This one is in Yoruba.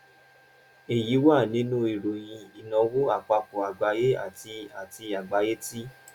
èyí wà nínú ìròyìn ìnáwó àpapọ̀ àgbáyé àti àti àgbáyé ti